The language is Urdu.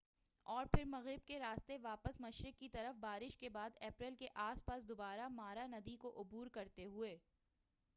اور پھر مغرب کے راستے واپس مشرق کی طرف بارش کے بعد اپریل کے آس پاس دوبارہ مارا ندی کو عبور کرتے ہوئے